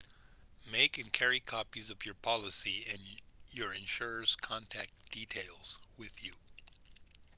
make and carry copies of your policy and your insurer's contact details with you